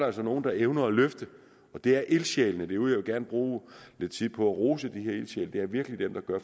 altså nogle der evner at løfte og det er ildsjælene derude jeg vil gerne bruge lidt tid på at rose de her ildsjæle det er virkelig dem der gør